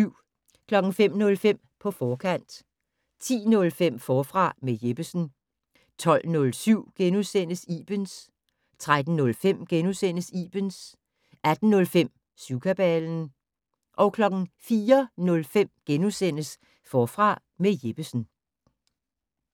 05:05: På forkant 10:05: Forfra med Jeppesen 12:07: Ibens * 13:05: Ibens * 18:05: Syvkabalen 04:05: Forfra med Jeppesen *